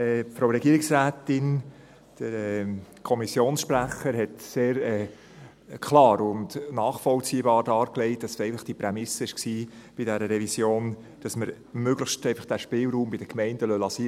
Die Regierungsrätin und der Kommissionssprecher haben sehr klar und nachvollziehbar dargelegt, dass bei dieser Revision einfach die Prämisse bestand, dass man den Spielraum möglichst bei den Gemeinden lässt.